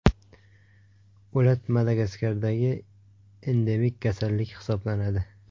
O‘lat Madagaskardagi endemik kasallik hisoblanadi.